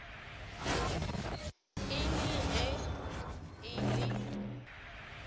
e le ge e le